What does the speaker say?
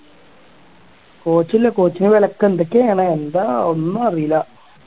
coach ഇല്ല coach ന് വിലക്കോ എന്തൊക്കെയാണ് എന്താ ഒന്നും അറിയില്ല